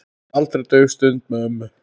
Aldrei dauf stund með ömmu.